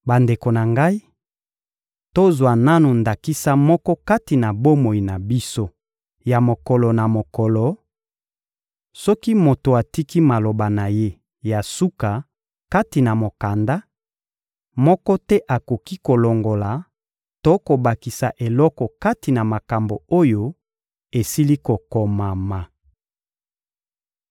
Bandeko na ngai, tozwa nanu ndakisa moko kati na bomoi na biso ya mokolo na mokolo: Soki moto atiki maloba na ye ya suka kati na mokanda, moko te akoki kolongola to kobakisa eloko kati na makambo oyo esili kokomama.